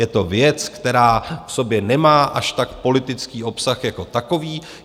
Je to věc, která v sobě nemá až tak politický obsah jako takový.